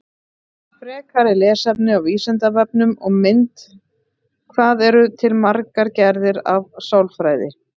Frekara lesefni á Vísindavefnum og mynd Hvað eru til margar gerðir af sálfræði?